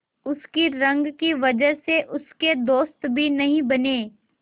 उसकी रंग की वजह से उसके दोस्त भी नहीं बने